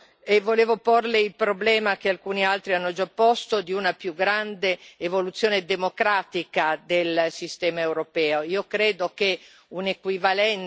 La ringrazio per il Suo discorso e volevo porLe il problema, che alcuni altri hanno già posto, di una più grande evoluzione democratica del sistema europeo.